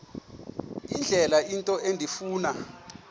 indlela into endifuna